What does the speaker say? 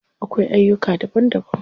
Akwai aiyuka daban daban.